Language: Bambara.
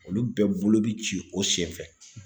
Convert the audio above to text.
Olu bɛɛ bolo bi ci o sen fɛ;